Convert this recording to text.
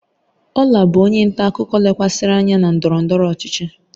Ola bụ onye nta akụkọ lekwasịrị anya na ndọrọ ndọrọ ọchịchị.